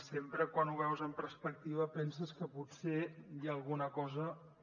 sempre quan ho veus en perspectiva penses que potser hi ha alguna cosa que